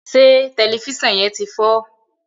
se Tẹlifísàn yén tí fọ?